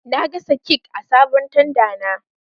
Na gasa kek a sabon tanda na